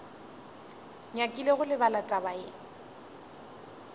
nyakile go lebala taba ye